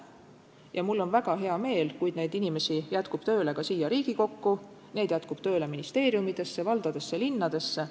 Ja mul on väga hea meel, kui asjalikke inimesi jätkub tööle ka siia Riigikokku, neid jätkub tööle ministeeriumidesse, valdadesse, linnadesse.